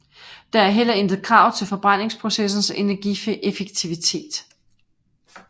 Der er heller intet krav til forbrændingsprocessens energieffektivitet